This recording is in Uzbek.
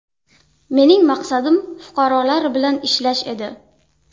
Mening maqsadim fuqarolar bilan ishlash edi.